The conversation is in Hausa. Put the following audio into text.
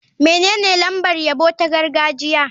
Menene lambar yabo ta gargajiya?